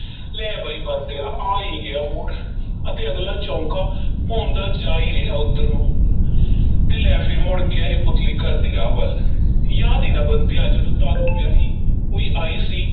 ਲੈ ਬਈ ਬੰਤਿਆ, ਆ ਹੀ ਗਿਆ ਮੋੜ ਅਤੇ ਅਗਲਾ ਚੌਂਕਾ ਭੌਂਦਾ ਜਾ ਹੀ ਰਿਹਾ ਉੱਧਰ ਨੂੰ ਤੇ ਲੈ ਫੇਰ ਮੁੜ ਗਿਆ ਇਹ ਪੁਤਲੀ ਘਰ ਦੀ ਰਾਹ ਵੱਲ, ਯਾਦ ਹੈ ਨਾ ਬੰਤਿਆ, ਜਦੋਂ ਤਾਰੋ ਵਿਆਹੀ ਹੋਈ ਆਈ ਸੀ